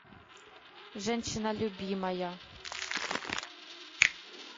женщина любимая